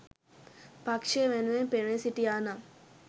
පක්‍ෂය වෙනුවෙන් පෙනී සිටියා නම්?